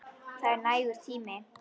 Það er nægur tími.